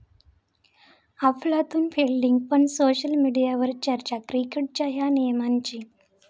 अफलातून फिल्डिंग पण सोशल मीडियवर चर्चा क्रिकेटच्या 'या' नियमाची